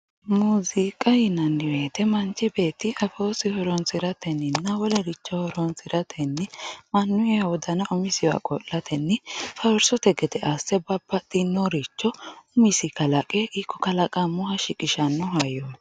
Muuziqa yinani wooyite manch beeti afoosi horonsiratenina wolericho horonsirateni manuyiha wodana umisiwa qolateni faarsote gede asse babaxino umisi kalaqe kalaqamoha shiqisano hayyoti.